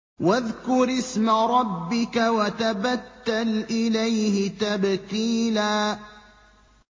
وَاذْكُرِ اسْمَ رَبِّكَ وَتَبَتَّلْ إِلَيْهِ تَبْتِيلًا